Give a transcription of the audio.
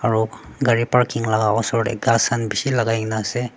aro gari parking laka osor tae ghas khan bishi lakai kaena ase.